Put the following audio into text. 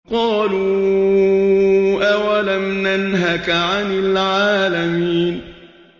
قَالُوا أَوَلَمْ نَنْهَكَ عَنِ الْعَالَمِينَ